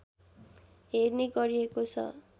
हेर्ने गरिएको छ